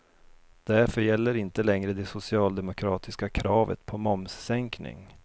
Därför gäller inte längre det socialdemokratiska kravet på momssänkning.